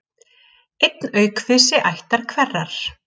Einn er aukvisi ættar hverrar.